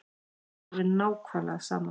Mér er alveg nákvæmlega sama.